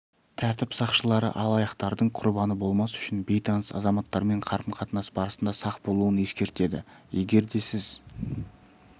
тәртіп сақшылары алаяқтардың құрбаны болмас үшін бейтаныс азаматтармен қарым-қатынас барысында сақ болуын ескертеді егер де сіз